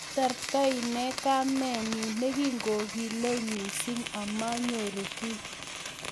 Kitatortoi ne kamenyu nikikokilei mising amanyoru kiy?